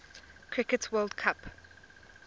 cricket world cup